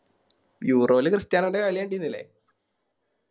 Euro ല് ക്രിസ്ത്യാനോൻറെ കളി കണ്ടിന്നില്ലേ